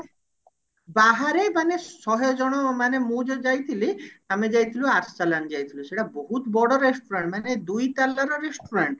ବାହାରେ ମାନେ ଶହେ ଜଣ ମାନେ ମୁଁ ଯୋଉ ଯାଇଥିଲି ଆମେ ଯାଇଥିଲୁ ଆରସଲନ ଯାଇଥିଲୁ ସେଟା ବହୁତ ବଡ restaurant ମାନେ ଦୁଇ ତାଲାର restaurant